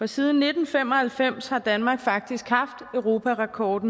siden nitten fem og halvfems har danmark faktisk haft europarekord